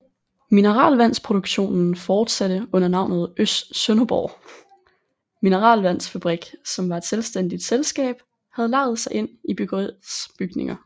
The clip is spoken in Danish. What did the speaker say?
Mineralvandsproduktionen fortsatte under navnet Sønderborg Mineralvandsfabrik som var et selvstændigt selskab der havde lejet sig ind i bryggeriets bygninger